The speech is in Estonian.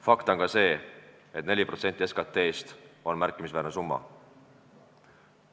Fakt on ka see, et 4% SKT-st on märkimisväärne summa.